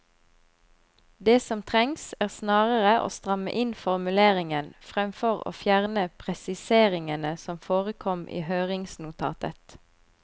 Det som trengs, er snarere å stramme inn formuleringen fremfor å fjerne presiseringene som forekom i høringsnotatet.